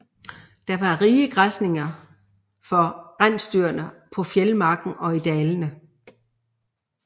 Det var rige græsninger for rensdyrene på fjeldmarken og i dalene